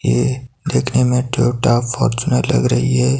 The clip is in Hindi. ये देखने में टोयोटा फॉर्च्यूनर लग रही है।